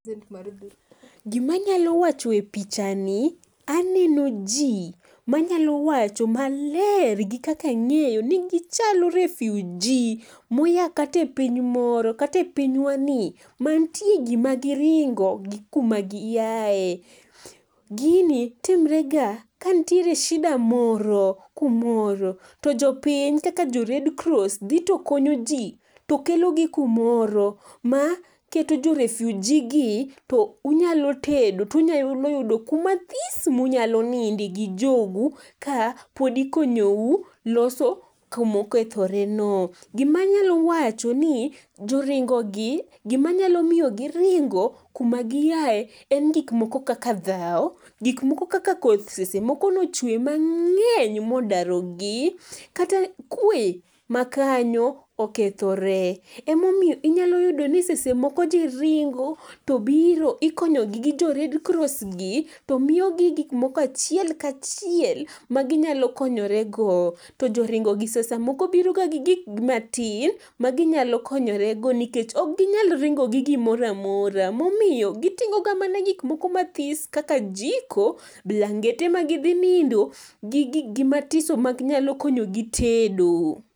Gimanyalo wacho e pichani, aneno ji manyalo wacho maler gi kaka ang'eyo ni gichalo refugee moya kata e piny moro kata e pinywani, ma nitie gima giringo gi kuma giaye. Gini timre ga ka ntiere shida moro kumoro to jopiny kaka jo Red Cross dhi to konyo ji, to kelogi kumoro ma keto jo refugee gi, to unyalo tedo, tunyalo yudo kuma this munyalo ninde gi jogu ka pod ikonyou loso kuma okethoreno. Gimanyalo wacho ni jo ringogi gimanyalo miyo giringo kuma giaye en gik moko kaka dhawo, gik moko kata koth seche moko nochwe mang'eny modarogi. Kata kwe ma kanyo okethore. Emomiyo inyalo yudo ni seche moko ji ringo, to biro ikonyogi gi jo Red Cross gi to miyogi gik moko achiel ka chiel maginyalo konyorego, to joringogi samoro biroga gi gik matin maginyalo konyorego nikech ok ginyal ringo gi gimoro amora, momiyo giting'o ga mana gik moko mathis kaka jiko blangete magidhi nindo gi giggi mathiso manyalo konyogi tedo.